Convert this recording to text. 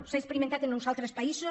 s’ha experimentat a uns altres països